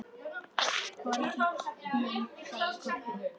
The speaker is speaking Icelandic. HORNIN, sagði Kobbi.